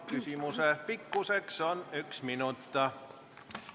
Küsimuse pikkus on kuni üks minut.